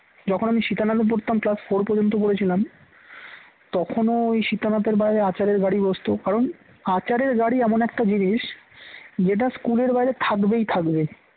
যখন আমি সীতানাথ এ পড়তাম class four পর্যন্ত পড়েছিলাম তখনও ওই সীতানাথ এর বাইরে আচারের গাড়ি বসত কারণ আচারের গাড়ি এমন একটা জিনিস যেটা school এর বাইরে থাকবেই থাকবেই থাকবে